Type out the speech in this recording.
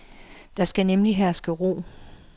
Der skal nemlig herske ro.